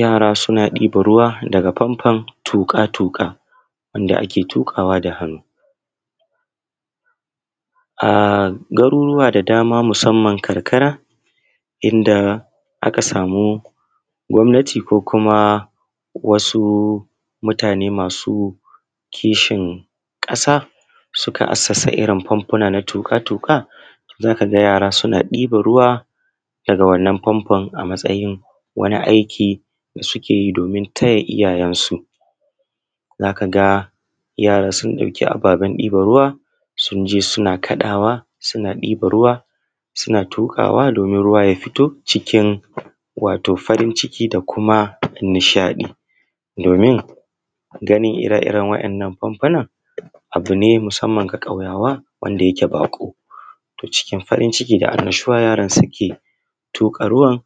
Yara suna ɗiban ruwa daga fanfon tuƙa-tuƙa wanda ake tuƙawa da hannu. A garurruwa da dama musamman karkara inda aka samu gwamnati ko kuma wasu mutane masu kishin ƙasa suka assasa irin fanfuna na tuƙa-tuƙa za ka ga yara suna ɗiban ruwa a wanan fanfon a matsayin wani aiki da suke yi domin taya iyayensu, za ka ga yara sun ɗauki ababen ɗiban ruwa sun je suna ƙadawa suna ɗiban ruwa, suna tuƙawa domin ruwa ya fito cikin. Wato farin ciki da kuma nishaɗi domin ganin ire-iren waɗan fanfunan abu ne musamman ga ƙauyawa wanda yake baƙo cikin farin ciki da annashuwa, yaran suke tuƙa ruwan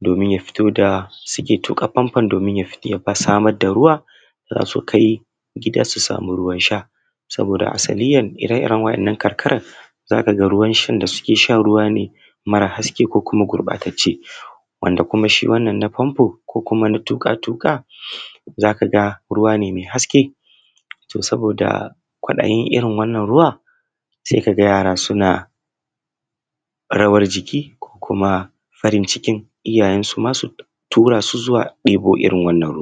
domin ya fito da suke tuƙa fanfon domin ya fito ya sama da ruwa kafun ka yi ƙila su samu ruwan sha saboda asanadiyyan wannan karkaran za ka ga ruwan shan da suke sha ruwa ne mara haske ko kuma gurɓatacce wanda kuma shi wannan na fanfo kuma na tuƙa-tuƙa za ka ga ruwa ne me haske. To, saboda kwaɗayin irin wannan ruwan se ka ga yara suna farin ciki ko kuma farin cikin iyayensu masu tura su zuwa ɗibo irin wannan ruwa.